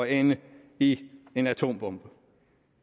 ende i en atombombe